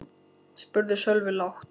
spurði Sölvi lágt.